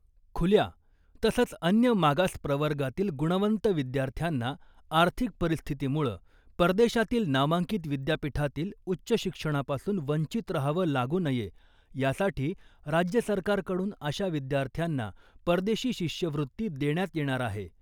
खुल्या तसंच , अन्य मागास प्रवर्गातील गुणवंत विद्यार्थ्यांना आर्थिक परिस्थितीमुळं परदेशातील नामांकित विद्यापीठातील उच्च शिक्षणापासून वंचित रहावं लागू नये यासाठी राज्य सरकारकडून अशा विद्यार्थ्यांना परदेशी शिष्यवृत्ती देण्यात येणार आहे .